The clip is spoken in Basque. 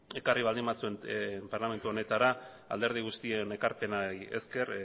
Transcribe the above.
ekarri baldin bazuen parlamentu honetara alderdi guztien ekarpenari esker